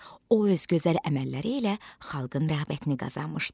O öz gözəl əməlləri ilə xalqın rəğbətini qazanmışdı.